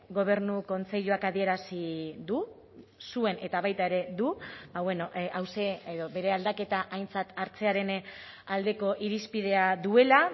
gobernu kontseiluak adierazi du zuen eta baita ere du hauxe edo bere aldaketa aintzat hartzearen aldeko irizpidea duela